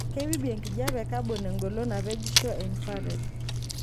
Keibibi enkijiepe e kabon engolon napejisho e infrared.